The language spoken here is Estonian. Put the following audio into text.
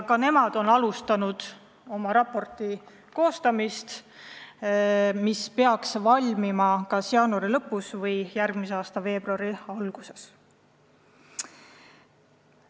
Ka nemad on alustanud oma raporti koostamist, mis peaks valmima kas järgmise aasta jaanuari lõpus või veebruari alguses.